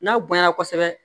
N'aw bonya na kosɛbɛ